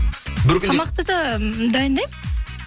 бір күнде тамақты да дайындаймын